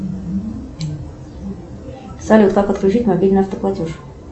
салют как отключить мобильный автоплатеж